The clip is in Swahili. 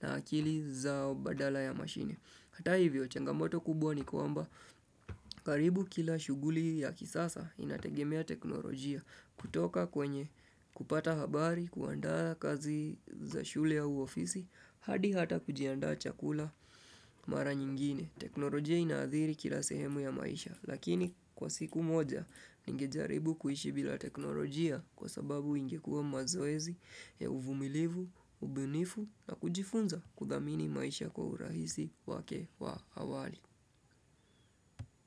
na akili zao badala ya mashine. Hata hivyo, changamoto kubwa ni kuamba karibu kila shuguli ya kisasa inategemea teknolojia kutoka kwenye kupata habari, kuandaa kazi za shule au ofisi, hadi hata kujiandaa chakula mara nyingine. Teknolojia inaadhiri kila sehemu ya maisha. Lakini kwa siku moja ningejaribu kuishi bila teknolojia kwa sababu ingekua mazoezi ya uvumilivu, ubunifu na kujifunza kudhamini maisha kwa urahisi wake wa awali.